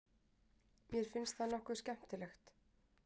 Mér finnst það nokkuð skemmtilegt.